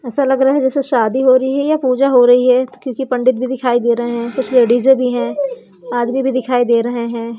ऐसा लग रहा है जैसे शादी हो रही है या पूजा हो रही है क्योंकि पंडित भी दिखाई दे रहे हैं कुछ लेडिस भी हैं आदमी भी दिखाई दे रहे हैं।